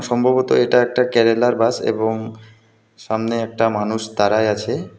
সম্ভবত এটা একটা কেরালার বাস এবং সামনে একটা মানুষ দাঁড়ায় আছে.